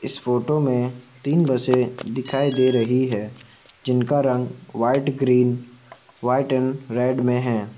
इस फोटो में तीन बसें दिखाई दे रही है जिनका रंग white green white and red में है।